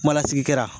Kuma lasigi kɛra